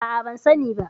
A'a, ban sani ba.